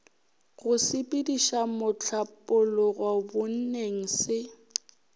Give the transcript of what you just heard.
go sepediša mohlapologo bonneng se